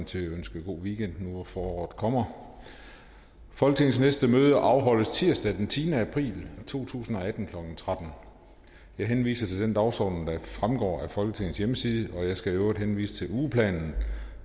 til at ønske god weekend nu hvor foråret kommer folketingets næste møde afholdes tirsdag den tiende april to tusind og atten klokken tretten jeg henviser til den dagsorden der fremgår af folketingets hjemmeside og jeg skal i øvrigt henvise til ugeplanen